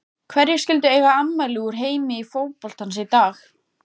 Hverjir skyldu eiga afmæli úr heimi fótboltans í dag?